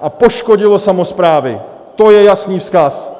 a poškodilo samosprávy, to je jasný vzkaz.